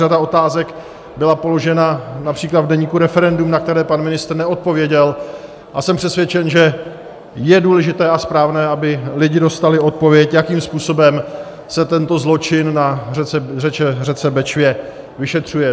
Řada otázek byla položena například v deníku Referendum, na které pan ministr neodpověděl, a jsem přesvědčen, že je důležité a správné, aby lidi dostali odpověď, jakým způsobem se tento zločin na řece Bečvě vyšetřuje.